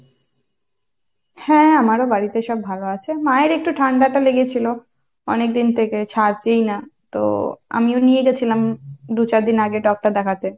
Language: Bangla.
হ্যাঁ আমারও বাড়িতে সব ভালো আছে। মায়ের একটু ঠান্ডাটা লেগেছিলো অনেকদিন থেকে ছাড়ছেই না, তো আমিও নিয়ে গিয়েছিলাম দু চার দিন আগে doctor দেখাতে।